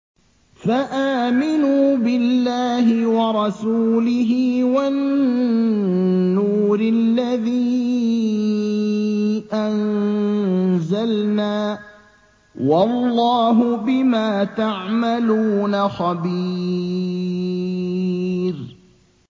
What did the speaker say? فَآمِنُوا بِاللَّهِ وَرَسُولِهِ وَالنُّورِ الَّذِي أَنزَلْنَا ۚ وَاللَّهُ بِمَا تَعْمَلُونَ خَبِيرٌ